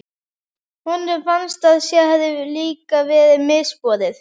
Honum fannst að sér hefði líka verið misboðið.